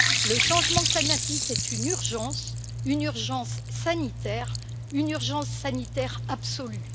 Le changement climatique est une urgence, une urgence sanitaire, une urgence sanitaire absolue.